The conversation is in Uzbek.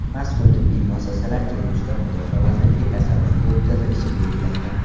Mazkur tibbiy muassasalar kelgusida Mudofaa vazirligi tasarrufiga o‘tkazilishi belgilangan.